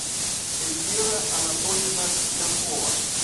эльвира анатольевна пьянкова